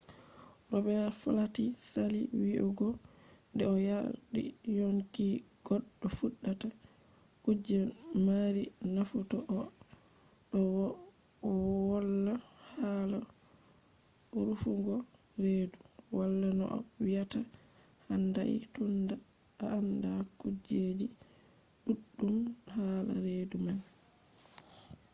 robets flati sali wiyugo nde o yardi yonki goɗɗo fuɗɗata kuje mari nafu to a ɗo woıla hala rufugo redu. wala no a wiyata handai tunda a anda kujeji ɗuɗɗum hala redu man